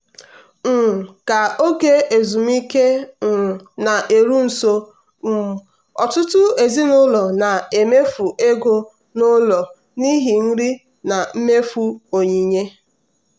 um ka oge ezumike um na-eru nso um ọtụtụ ezinụlọ na-emefu ego n'ụlọ n'ihi nri na mmefu onyinye.